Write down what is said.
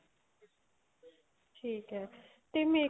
ਠੀਕ ਏ ਤੇ make